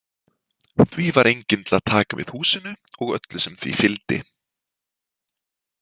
Því var enginn til að taka við húsinu og öllu sem því fylgdi.